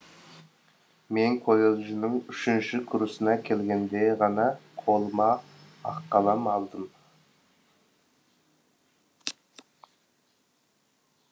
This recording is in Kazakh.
мен колледждің үшінші курсына келгенде ғана қолымақалам алдым